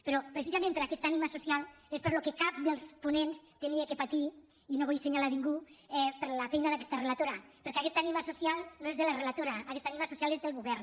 però precisament per aquesta ànima social és pel que cap dels ponents havia de patir i no vull assenyalar ningú per la feina d’aquesta relatora perquè aquesta ànima social no és de la relatora aquesta ànima social és del govern